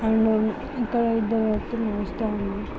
ఇక్కడ ఇద్దరు వ్యక్తులు నడుస్తూ ఉన్నారు.